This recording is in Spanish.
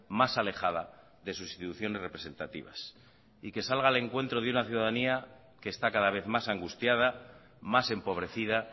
más alejada de sus instituciones representativas y que salga al encuentro de una ciudadanía que está cada vez más angustiada más empobrecida